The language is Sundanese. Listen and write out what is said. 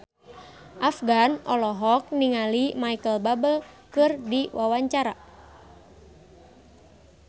Afgan olohok ningali Micheal Bubble keur diwawancara